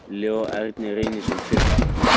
Leó Ernir Reynisson, Fylki